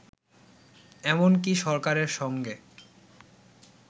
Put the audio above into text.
এমনকি সরকারের সঙ্গে